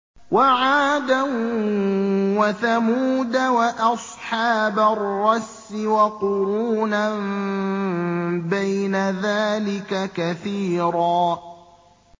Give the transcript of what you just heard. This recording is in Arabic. وَعَادًا وَثَمُودَ وَأَصْحَابَ الرَّسِّ وَقُرُونًا بَيْنَ ذَٰلِكَ كَثِيرًا